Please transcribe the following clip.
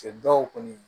Cɛ dɔw kɔni